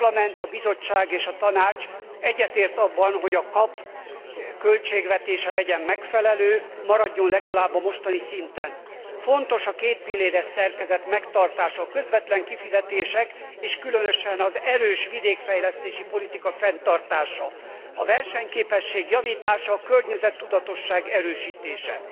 A Parlament, a Bizottság és a Tanács egyetért abban, hogy a KAP költségvetése legyen megfelelő, maradjon legalább a mostani szinten. Fontos a kétpilléres szerkezet megtartása, a közvetlen kifizetések és különösen az erős vidékfejlesztési politika fenntartása, a versenyképesség javítása, a környezettudatosság erősítése.